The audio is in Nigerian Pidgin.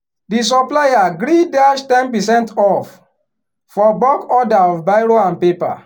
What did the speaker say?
the supplier gree dash ten percent off for bulk order of biro and paper.